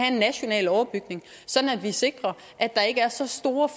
en national overbygning sådan at vi sikrer at der ikke er så store